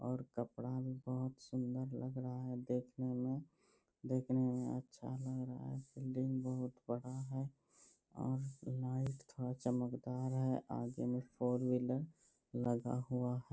और कपड़ा लत्ता अच्छा लग रहा है देखने में। देखने में अच्छा लग रहा है। आगे में फोर व्हीलर लगा हुआ है।